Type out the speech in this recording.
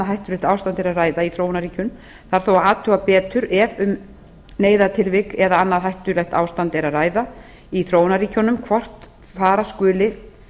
hættulegt ástand er að ræða í þróunarríkjum þarf þó að athuga betur ef um neyðartilvik eða annað hættulegt ástand er að ræða í þróunarríkjunum hvort fara skuli